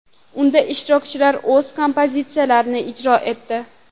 Unda ishtirokchilar o‘z kompozitsiyalarini ijro etdi.